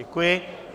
Děkuji.